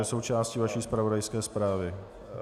To je součástí vaší zpravodajské zprávy.